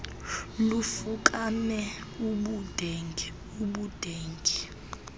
lufukame ubudenge ubudenge